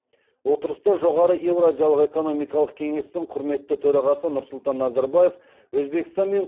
отырыста жоғары еуразиялық экономикалық кеңестің құрметті төрағасы нұрсұлтан назарбаев өзбекстан мен